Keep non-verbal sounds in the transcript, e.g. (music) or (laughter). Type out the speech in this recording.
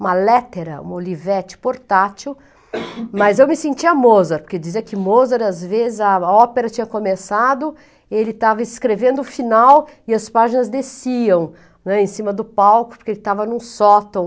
uma lettera, uma olivete portátil, (coughs) mas eu me sentia Mozart, porque dizia que Mozart, às vezes, a ópera tinha começado, ele estava escrevendo o final e as páginas desciam né, em cima do palco, porque ele estava em um sótão.